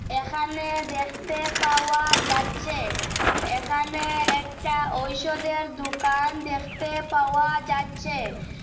এখানে দেখতে পাওয়া যাচ্ছে এখানে একটা ঔষধের দোকান দেখতে পাওয়া যাচ্ছে।